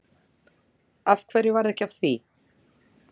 Af hverju varð ekki af því?